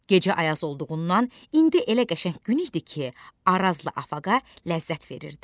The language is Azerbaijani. Gecə ayaz olduğundan indi elə qəşəng gün idi ki, Arazla Afəqə ləzzət verirdi.